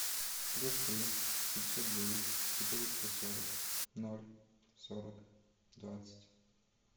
плюс три пятьсот девять четыреста сорок ноль сорок двадцать